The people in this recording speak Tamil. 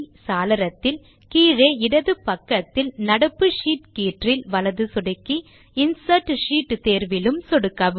சாளரத்தில் கீழே இடது பக்கத்தில் நடப்பு ஷீட் கீற்றில் வலது சொடுக்கி இன்சர்ட் ஷீட் தேர்விலும் சொடுக்கவும்